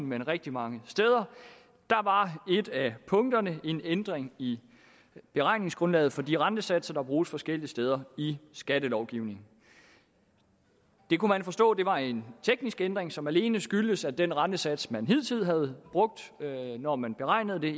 men rigtig mange steder var et af punkterne en ændring i beregningsgrundlaget for de rentesatser der bruges forskellige steder i skattelovgivningen det kunne vi forstå var en teknisk ændring som alene skyldtes at den rentesats man hidtil havde brugt når man beregnede det